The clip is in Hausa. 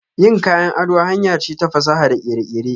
Yin kayan ado hanyar ce ta fasaha da kere-kere.